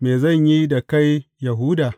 Me zan yi da kai Yahuda?